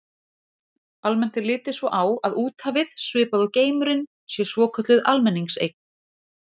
Almennt er litið svo á að úthafið, svipað og geimurinn, sé svokölluð almenningseign.